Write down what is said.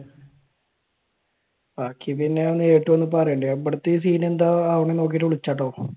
ബാക്കി പിന്നെ നേരിട്ട് വന്ന് പറയാം. ഞാൻ ഇവിടുത്തെ scene എന്താവുമെന്ന് നോക്കിയിട്ട് വിളിക്കാട്ടോ.